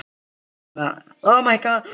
Þú hlýtur að hafa hitt fólkið.